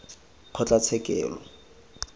kgotlatshekelo